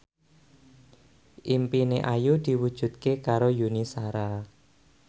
impine Ayu diwujudke karo Yuni Shara